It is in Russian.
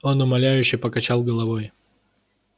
он умоляюще покачал головой